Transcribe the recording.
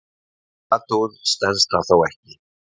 Við nánari athugun stenst það þó ekki.